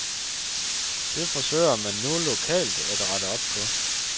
Det forsøger man nu lokalt at rette op på.